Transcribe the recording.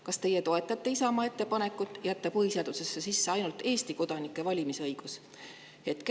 Kas teie toetate Isamaa ettepanekut jätta põhiseadusesse ainult Eesti kodanike valimisõigus?